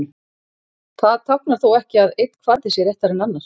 Það táknar þó ekki að einn kvarði sé réttari en annar.